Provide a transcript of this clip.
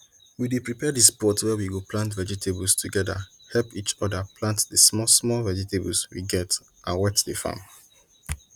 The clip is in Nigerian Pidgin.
we dey prepare di spot wey we go plant vegetables together help each other plant di small small vegetables we get and wet di farm